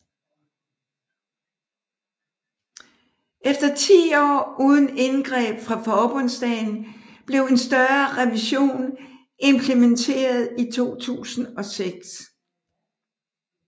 Efter 10 år uden indgreb fra forbundsdagen blev en større revision implementeret i 2006